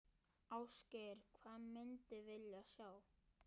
Ásgeir: Hvað myndir vilja sjá?